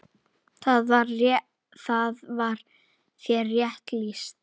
Þar var þér rétt lýst!